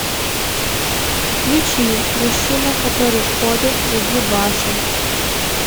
включи мужчина который ходит среди башен